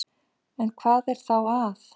En hvað er þá að?